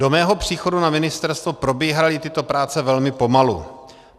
Do mého příchodu na ministerstvo probíhaly tyto práce velmi pomalu.